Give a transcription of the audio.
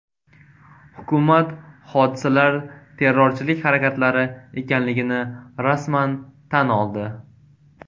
Hukumat hodisalar terrorchilik harakatlari ekanligini rasman tan oldi.